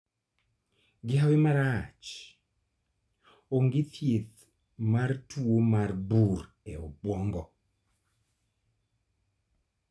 Gi hawi marach , onge thiedh mar tuo mar bur e obwongo